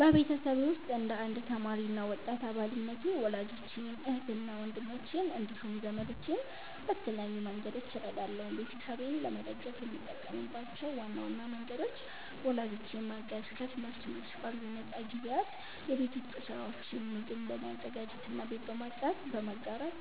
በቤተሰቤ ውስጥ እንደ አንድ ተማሪ እና ወጣት አባልነቴ ወላጆቼን፣ እህትና ወንድሞቼን እንዲሁም ዘመዶቼን በተለያዩ መንገዶች እረዳለሁ። ቤተሰቤን ለመደገፍ የምጠቀምባቸው ዋና ዋና መንገዶች፦ ወላጆቼን ማገዝ፦ ከትምህርት መልስ ባሉኝ ነፃ ጊዜያት የቤት ውስጥ ሥራዎችን (ምግብ በማዘጋጀትና ቤት በማጽዳት) በመጋራት